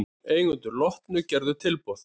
Eigendur Lotnu gerðu tilboð